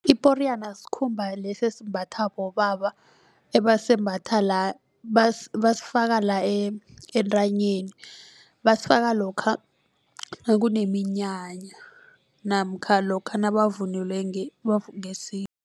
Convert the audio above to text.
Iporiyana sikhumba lesi esimbatha bobaba ebasembatha la basifaka la entanyeni basifaka lokha nakuneminyanya namkha lokha nabavunule